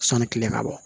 Sɔni tile ka bɔ